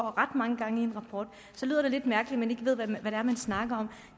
ret mange gange så lyder det lidt mærkeligt ved hvad det er man snakker om